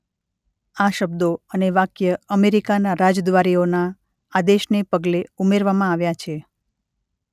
આ શબ્દો અને વાક્ય અમેરિકાના રાજદ્વારીઓના આદેશને પગલે ઉમેરવામાં આવ્યાં છે.